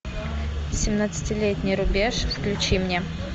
семнадцатилетний рубеж включи мне